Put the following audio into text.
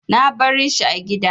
Na bari shi a gida.